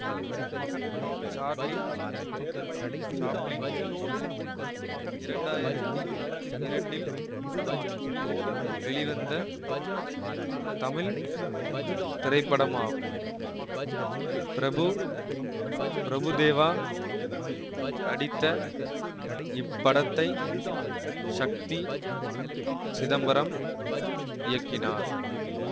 Charlie Chaplin இரண்டு ஆயிரத்தி இரண்டில் வெளிவந்த தமிழ் திரைப்படமாகும் பிரபு பிரபுதேவா நடித்த இப்படத்தை ஷக்தி சிதம்பரம் இயக்கினார்